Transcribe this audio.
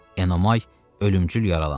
Enomay ölümcül yaralandı.